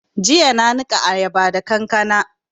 Jiya na niƙa ayaba da kankana